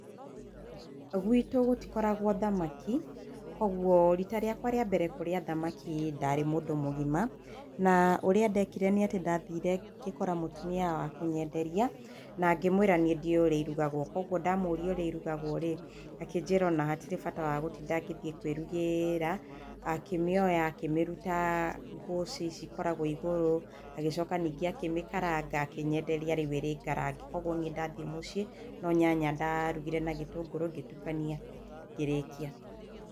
Gwitũ gũtikoragwo thamaki, kogwo rita rĩakwa rĩa mbere kũrĩa thamaki ndarĩ mũndũ mũgima, na ũrĩa ndekire nĩ atĩ ndathire ngĩkora mũtumia wa kũnyenderia, na ngĩmwĩra niĩ ndiũĩ ũrĩa irugagwo, kogwo ndamũria ũrĩa irugagwo-rĩ, akĩnjĩra o na hatirĩ bata wa gũtinda ngĩthiĩ kwĩrugĩra, akĩmĩoya akĩmĩruta ngũcĩ ici ikoragwo igũrũ, agĩcoka ningĩ akĩmĩkaranga, akĩnyenderia rĩu ĩrĩngarange, kogwo niĩ ndathiĩ mũciĩ, no nyanya ndarugire na gĩtũngũrũ, ngĩtukania, ngĩrĩkia.